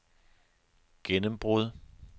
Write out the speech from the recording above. gennembrud